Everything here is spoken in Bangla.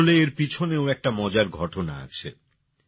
আসলে এর পিছনেও একটা মজার ঘটনা আছে